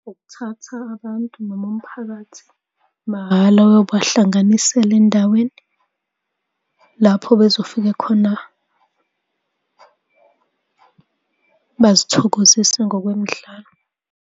Ukuthatha abantu noma umphakathi mahhala uyobahlanganisela endaweni lapho bezofika khona bazithokozise ngokwemidlalo.